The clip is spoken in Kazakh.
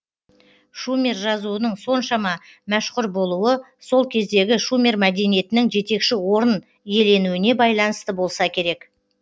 шумер жазуының соншама мәшһүр болуы сол кездегі шумер мәдениетінің жетекші орын иеленуіне байланысты болса керек